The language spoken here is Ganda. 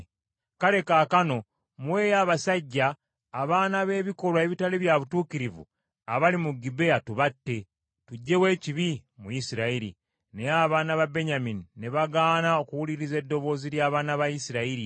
Kale kaakano muweeyo abasajja abaana b’ebikolwa ebitali bya butuukirivu abali mu Gibea tubatte, tuggyewo ekibi mu Isirayiri.” Naye abaana ba Benyamini ne bagaana okuwuliriza eddoboozi ly’abaana ba Isirayiri.